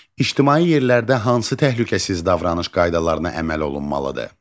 İctimai yerlərdə hansı təhlükəsiz davranış qaydalarına əməl olunmalıdır?